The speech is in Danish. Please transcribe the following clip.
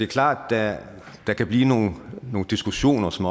klart at der kan blive nogle diskussioner som